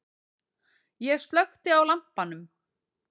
Ég slökkti á lampanum.